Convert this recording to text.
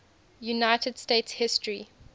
united states history